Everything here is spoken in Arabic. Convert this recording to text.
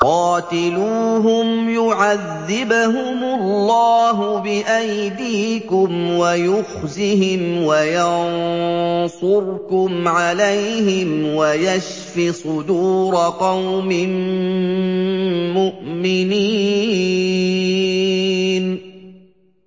قَاتِلُوهُمْ يُعَذِّبْهُمُ اللَّهُ بِأَيْدِيكُمْ وَيُخْزِهِمْ وَيَنصُرْكُمْ عَلَيْهِمْ وَيَشْفِ صُدُورَ قَوْمٍ مُّؤْمِنِينَ